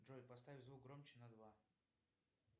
джой поставь звук громче на два